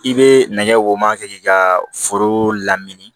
I bɛ nɛgɛ woma kɛ k'i ka foro lamini